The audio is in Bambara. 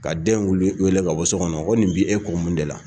Ka den wele ka bɔ sokɔnɔ ko nin bi e kun mun de la